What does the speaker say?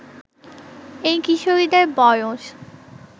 এই কিশোরীদের বয়স